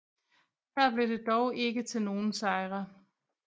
Her blev det dog ikke til nogen sejre